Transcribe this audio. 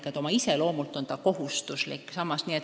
Nii et oma iseloomult on see kohustuslik sammas.